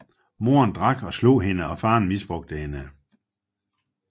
Moren drak og slog hende og faren misbrugte hende